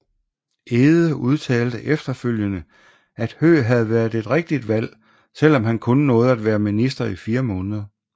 Egede udtalte efterfølgende at Høegh havde været et rigtigt valg selvom han kun nåede at være minister i 4 måneder